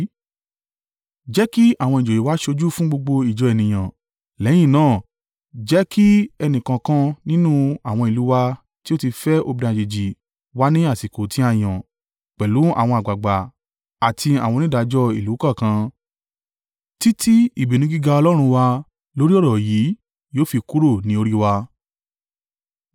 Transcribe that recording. Jẹ́ kí àwọn ìjòyè wa ṣojú fún gbogbo ìjọ ènìyàn, lẹ́yìn náà, jẹ́ kí ẹnìkọ̀ọ̀kan nínú àwọn ìlú wa tí ó ti fẹ́ obìnrin àjèjì wá ní àsìkò tí a yàn, pẹ̀lú àwọn àgbàgbà àti àwọn onídàájọ́ ìlú kọ̀ọ̀kan, títí ìbínú gíga Ọlọ́run wa lórí ọ̀rọ̀ yìí yóò fi kúrò ní orí wa.